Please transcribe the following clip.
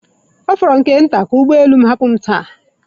Ọ fọrọ nke nta ka ụgbọ elu m hapụ m taa